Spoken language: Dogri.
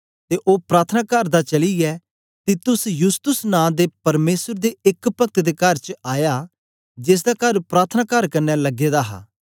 ते ओ प्रार्थनाकार दा चलीयै तीतुस यूसतुस नां दे परमेसर दे एक पक्त दे कर च आया जेसदा कर प्रार्थनाकार कन्ने लगे दा हा